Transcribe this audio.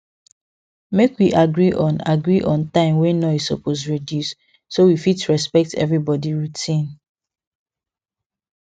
make we agree on agree on time wey noise suppose reduce so we fit respect everybody routine